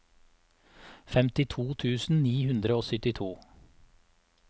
femtito tusen ni hundre og syttito